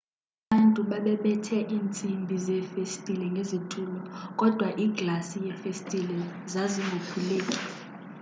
abantu babebethe intsimbi zefestile ngezitulo kodwa iglasi yefestile zazingophuleki